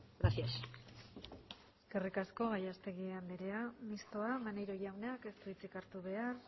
gracias eskerrik asko gallastegui andrea mistoa maneiro jaunak ez du hitzik hartu behar